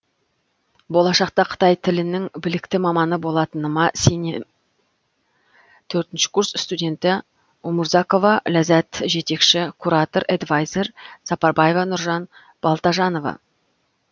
болашақта қытай тілінің білікті маманы болатыныма сенемін төртінші курс студенті умурзакова ләззат жетекші куратор эдвайзер сапарбаева нуржан балтажановна